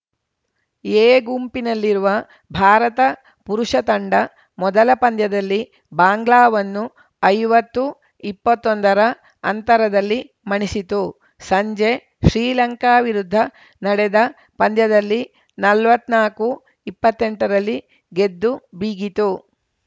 A ಗುಂಪಿನಲ್ಲಿರುವ ಭಾರತ ಪುರುಷ ತಂಡ ಮೊದಲ ಪಂದ್ಯದಲ್ಲಿ ಬಾಂಗ್ಲಾವನ್ನು ಐವತ್ತುಇಪ್ಪತೊಂದರ ಅಂತರದಲ್ಲಿ ಮಣಿಸಿತು ಸಂಜೆ ಶ್ರೀಲಂಕಾ ವಿರುದ್ಧ ನಡೆದ ಪಂದ್ಯದಲ್ಲಿ ನಲವತ್ನಾಲ್ಕು ಇಪ್ಪತ್ತೆಂಟರಲ್ಲಿ ಗೆದ್ದು ಬೀಗಿತು